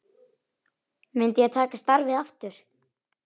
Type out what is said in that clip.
Myndi ég taka starfið aftur?